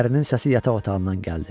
Ərinin səsi yataq otağından gəldi.